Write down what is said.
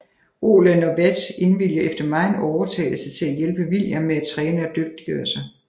Roland og Wat indviliger efter megen overtalelse til at hjælpe William med at træne og dyggtigøre sig